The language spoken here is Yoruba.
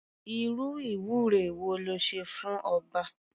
Irú ìwúre wo le ṣe fún ọba?